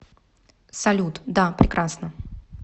салют да прекрасно